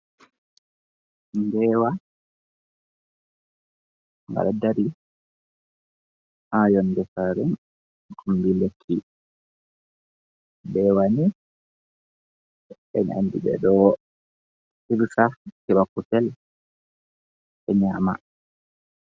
Nbewa, gaɗo dari ha yonde sare kombi lekki, mbewani en andi ɓeɗo hirsa hiɓa kusel be nyama.